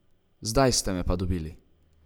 Zdaj ste me pa dobili.